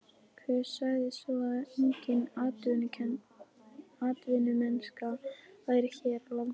Hver sagði svo að engin atvinnumennska væri hér á landi?